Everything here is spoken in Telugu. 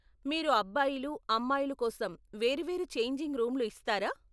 మీరు అబ్బాయిలు, అమ్మాయిలు కోసం వేరువేరు ఛేంజింగ్ రూమ్లు ఇస్తారా ?